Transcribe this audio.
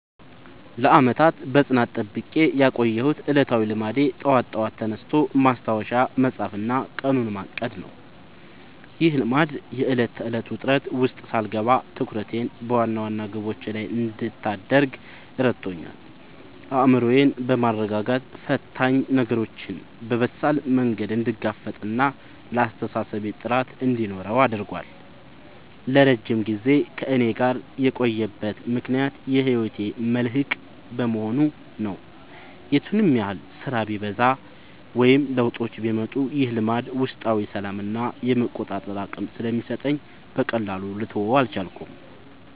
ለዓመታት በጽናት ጠብቄ ያቆየሁት ዕለታዊ ልማዴ ጠዋት በጠዋት ተነስቶ ማስታወሻ መጻፍና ቀኑን ማቀድ ነው። ይህ ልማድ የዕለት ተዕለት ውጥረት ውስጥ ሳልገባ ትኩረቴን በዋና ዋና ግቦቼ ላይ እንድታደርግ ረድቶኛል። አእምሮዬን በማረጋጋት ፈታኝ ነገሮችን በበሳል መንገድ እንድጋፈጥና ለአስተሳሰቤ ጥራት እንዲኖረው አድርጓል። ለረጅም ጊዜ ከእኔ ጋር የቆየበት ምክንያት የህይወቴ መልህቅ በመሆኑ ነው። የቱንም ያህል ስራ ቢበዛ ወይም ለውጦች ቢመጡ፣ ይህ ልማድ ውስጣዊ ሰላምና የመቆጣጠር አቅም ስለሚሰጠኝ በቀላሉ ልተወው አልቻልኩም።